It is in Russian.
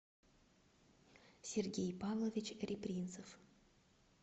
сергей павлович репринцев